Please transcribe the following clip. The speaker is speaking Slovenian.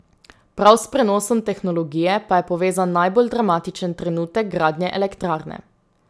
Prav s prenosom tehnologije pa je povezan najbolj dramatičen trenutek gradnje elektrarne.